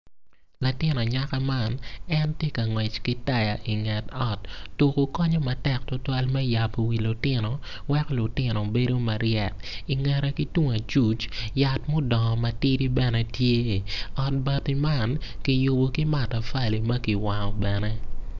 Latin anyaka man tye ka ngwec ki taya i nget ot tuko konyo tutwal me dongo pa lutino weko lutino bedo maryek ki bene ki tung acuc yat mudongo matidi bene tye ot bati man ki yubo ki matafali ma kiwango bene